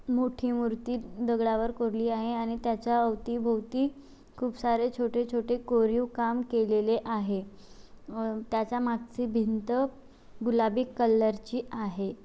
मोठी मूर्ति दगडावर कोरली आहे आणि त्याच्या अवती भोवती खूप सारे छोटे-छोटे कोरीव काम केलेले आहे. अ त्याचा मागचे भिंत गुलाबी कलर ची आहे.